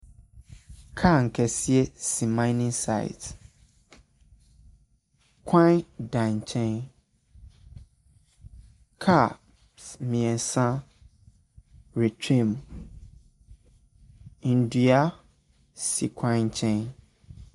Kaa akɛseɛ si minning site. Kwan da nkyɛn. Kaa s mmeɛnsa retwam. Nnua si kwan nkyɛn.